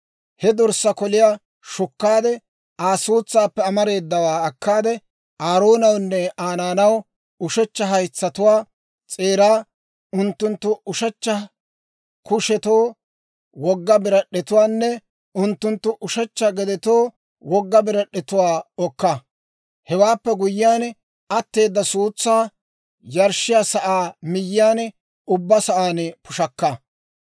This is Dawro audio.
He dorssaa koliyaa shukkaade, Aa suutsaappe amareedawaa akkaade, Aaroonawunne Aa naanaw ushechcha haytsatuwaa s'eeraa, unttunttu ushechcha kushetoo wogga birad'd'etuwaanne unttunttu ushechcha gedetoo wogga birad'd'etuwaa okka; hewaappe guyyiyaan, atteeda suutsaa yarshshiyaa sa'aa miyyiyaan ubbaa sa'aan pushakka.